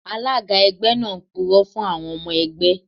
Alága ẹgbẹ́ náà purọ́ fún àwọn ọmọ ẹgbẹ́